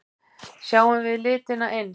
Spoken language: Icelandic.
Sjáum við litina eins?